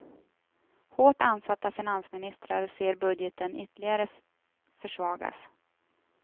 Hårt ansatta finansministrar ser budgeten ytterligare försvagas.